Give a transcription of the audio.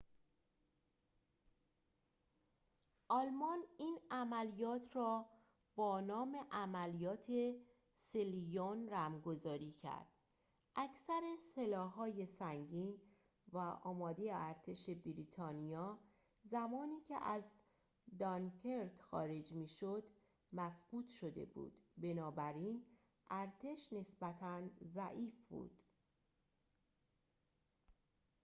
آلمان این عملیات را با نام عملیات سیلیون رمزگذاری کرد اکثر سلاح‌های سنگین و آماد ارتش بریتانیا زمانی که از دانکرک خارج می‌شد مفقود شده بود بنابراین ارتش نسبتاً ضعیف بود